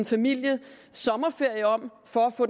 familiens sommerferie om for at få